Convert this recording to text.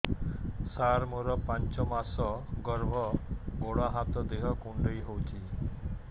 ସାର ମୋର ପାଞ୍ଚ ମାସ ଗର୍ଭ ଗୋଡ ହାତ ଦେହ କୁଣ୍ଡେଇ ହେଉଛି